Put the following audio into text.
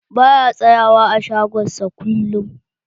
Ba ya tsayawa a shagon sa kullum.